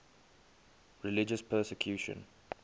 religious persecution